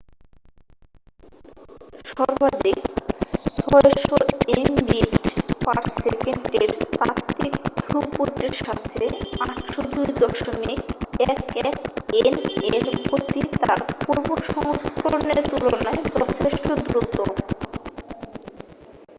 সর্বাধিক 600এমবিট / সেকেন্ডের তাত্ত্বিক থ্রুপুটের সাথে 802.11এন এর গতি তার পূর্ব সংস্করণের তুলনায় যথেষ্ট দ্রুত